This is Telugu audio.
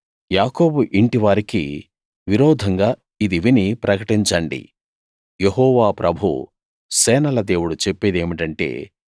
యాకోబు ఇంటి వారికి విరోధంగా ఇది విని ప్రకటించండి యెహోవా ప్రభువు సేనల దేవుడు చెప్పేదేమిటంటే